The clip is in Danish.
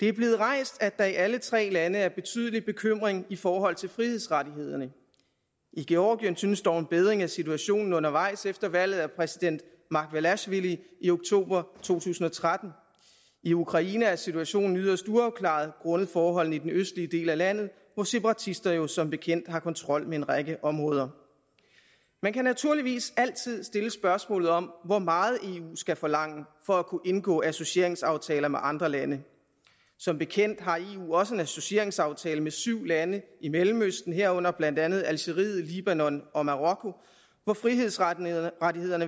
er blevet rejst at der i alle tre lande er betydelig bekymring i forhold til frihedsrettighederne i georgien synes dog en bedring af situationen undervejs efter valget af præsident margvelasjvili i oktober to tusind og tretten i ukraine er situationen yderst uafklaret grundet forholdene i den østlige del af landet hvor separatister jo som bekendt har kontrol med en række områder man kan naturligvis altid stille spørgsmålet om hvor meget eu skal forlange for at kunne indgå associeringsaftaler med andre lande som bekendt har eu også en associeringsaftale med syv lande i mellemøsten herunder blandt andet algeriet libanon og marokko hvor frihedsrettighederne